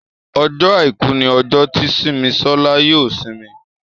Ọjọ́ aìkú ní ojo tí Simisola yóò isimi